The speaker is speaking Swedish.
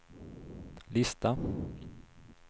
lista